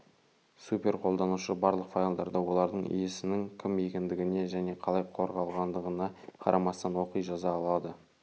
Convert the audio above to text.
супер қолданушы барлық файлдарды олардың иесінің кім екендігіне және қалай қорғалғандығына қарамастан оқи жаза алады